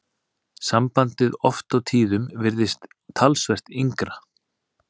Sambandið oft á tíðum virðist talsvert yngra.